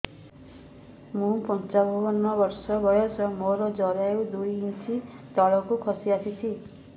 ମୁଁ ପଞ୍ଚାବନ ବର୍ଷ ବୟସ ମୋର ଜରାୟୁ ଦୁଇ ଇଞ୍ଚ ତଳକୁ ଖସି ଆସିଛି